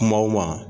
Kumaw ma